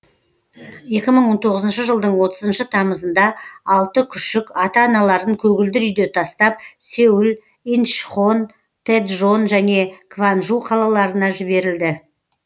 екі мың он тоғызыншы жылдың отызыншы тамызында алты күшік ата аналарын көгілдір үйде тастап сеул инчхон тэджон және кванжу қалаларына жіберілді